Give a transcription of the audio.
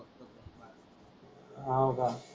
हो का?